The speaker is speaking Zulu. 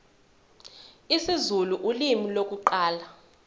isizulu ulimi lokuqala